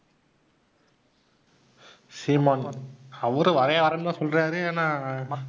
சீமான், அவரும் வர்றேன் வர்றேன்னு தான் சொல்றாரு ஆனா.